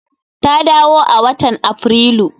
Ta dawo a watan Aprilu.